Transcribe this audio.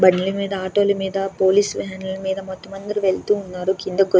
బండ్లు మీద ఆటో లా మీద పోలీస్ వ్యాన్ లా మీద అందరూ వెళ్తూ ఉన్నారు. కింద --]